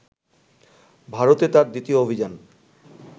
ভারতে তাঁর দ্বিতীয় অভিযান